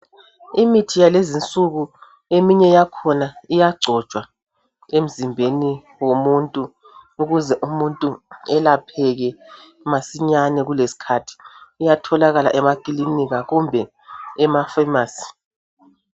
Imithi yalezi nsuku eminye yakhona iyagcotshwa emzimbeni womuntu ukuze umuntu elapheke masinyane kulesikhathi iyatholakala emakilinika kumbe ema pharmacy